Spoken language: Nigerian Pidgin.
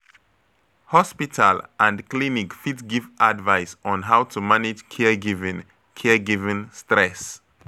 Hospital and clinic fit give advice on how to manage caregiving caregiving stress.